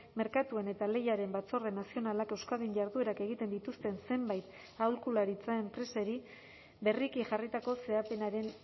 merkatuen eta lehiaren batzorde nazionalak euskadin jarduerak egiten dituzten zenbait aholkularitza enpresari berriki jarritako zehapenaren